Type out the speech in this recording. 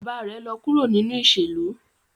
Baba rẹ lọ kuro ninu iṣelu